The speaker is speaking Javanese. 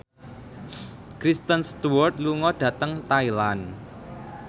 Kristen Stewart lunga dhateng Thailand